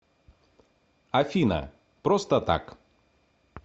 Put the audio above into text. афина просто так